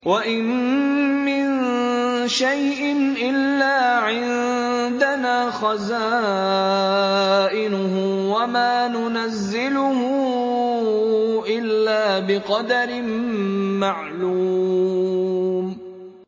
وَإِن مِّن شَيْءٍ إِلَّا عِندَنَا خَزَائِنُهُ وَمَا نُنَزِّلُهُ إِلَّا بِقَدَرٍ مَّعْلُومٍ